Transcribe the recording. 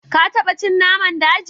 Ka taba cin naman daji?